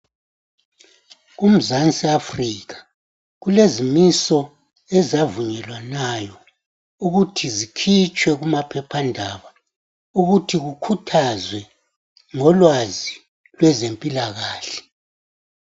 Kumzansi Africa kulezimiso ezavunyelwanayo ukuthi kukhuthazwe ngolwazi lwezempilakahle.